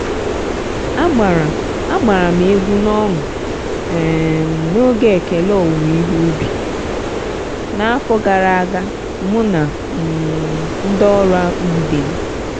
agbara agbara m egwu n'ọṅụ um n'oge ekele owuwe ihe ubi n'afọ gara aga mụ na um ndị ọrụ akpu ibe m.